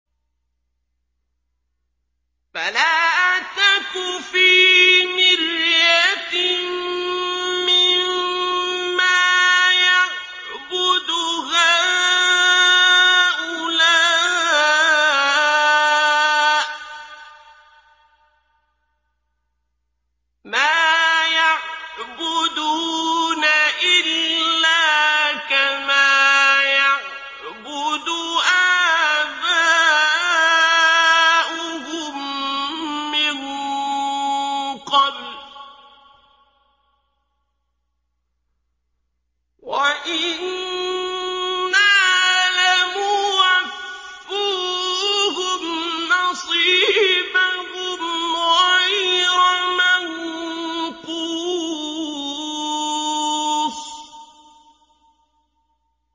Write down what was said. فَلَا تَكُ فِي مِرْيَةٍ مِّمَّا يَعْبُدُ هَٰؤُلَاءِ ۚ مَا يَعْبُدُونَ إِلَّا كَمَا يَعْبُدُ آبَاؤُهُم مِّن قَبْلُ ۚ وَإِنَّا لَمُوَفُّوهُمْ نَصِيبَهُمْ غَيْرَ مَنقُوصٍ